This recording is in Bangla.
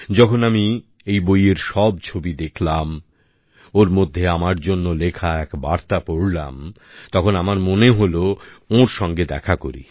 যখন আমি এই বইয়ের সব ছবি দেখলাম ওর মধ্যে আমার জন্য লেখা এক বার্তা পড়লাম তখন আমার মনে হল ওঁর সঙ্গে দেখা করি